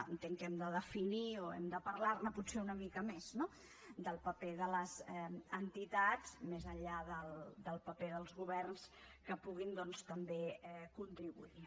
entenc que hem de definir o hem de parlar ne potser una mica més no del paper de les entitats més enllà del paper dels governs que puguin doncs també contribuir hi